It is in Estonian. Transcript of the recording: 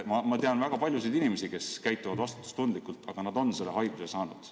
Ma tean väga paljusid inimesi, kes käituvad vastutustundlikult, aga nad on selle haiguse saanud.